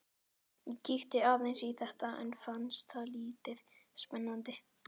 Ég kíkti aðeins í þetta en fannst það lítið spennandi.